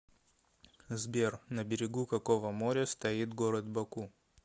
сбер на берегу какого моря стоит город баку